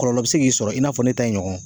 Kɔlɔlɔ bɛ se k'i sɔrɔ i n'a fɔ ne ta in ɲɔgɔn.